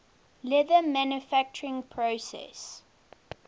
leather manufacturing process